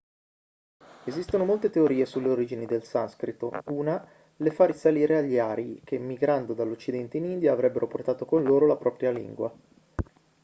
esistono molte teorie sulle origini del sanscrito una le fa risalire agli arii che migrando dall'occidente in india avrebbero portato con loro la propria lingua